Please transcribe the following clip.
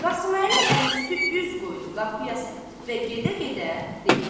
Qasım Əli əlüstü üz qoydu qapıya səmt və gedə-gedə dedi.